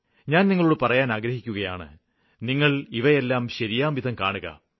ഞാന് നിങ്ങളോട് പറയുവാന് ആഗ്രഹിക്കുകയാണ് നിങ്ങള് ഇവയെല്ലാം ശരിയാംവിധം കാണുക